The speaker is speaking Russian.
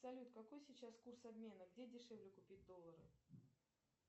салют какой сейчас курс обмена где дешевле купить доллары